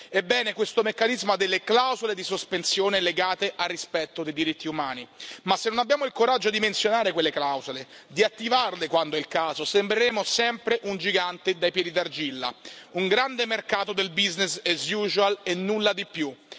Ebbene, questo meccanismo delle clausole di sospensione legate al rispetto dei diritti umani, ma se non abbiamo il coraggio di menzionare quelle clausole, di attivarle quando è il caso, sembreremo sempre un gigante dai piedi d'argilla, un grande mercato del business as usual e nulla di più.